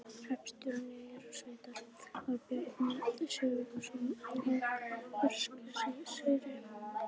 Hreppstjóri Eyrarsveitar var Bjarni Sigurðsson á Berserkseyri.